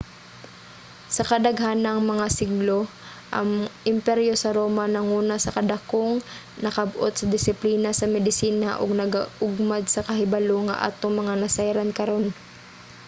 sa kadaghang mga siglo ang imperyo sa roma nanguna sa dakong nakab-ot sa disiplina sa medisina ug nag-ugmad sa kahibalo nga atong mga nasayran karon